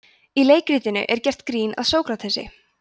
í leikritinu er gert grín að sókratesi